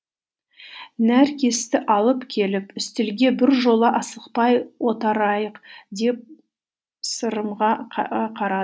нәркесті алып келіп үстелге біржола асықпай деп сырымға қарады